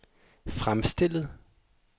fremstillet